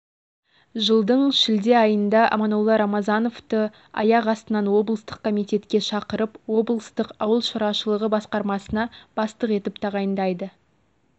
жылдың шілде айында аманолла рамазановты аяқ астынан облыстық комитетке шақырып облыстық ауыл шаруашылығы басқармасына бастық етіп тағайындайды